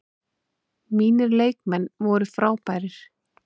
Mínir leikmenn voru frábærir.